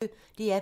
DR P1